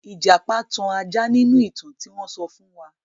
Ìjàpá tan ajá nínú ìtàn tí wọ́n sọ fún wa.